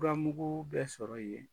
Furamugu bɛɛ sɔrɔ yen